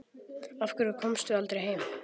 Af hverju komstu aldrei heim?